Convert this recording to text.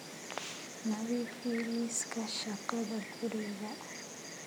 nadiifi liiska shaqada guriga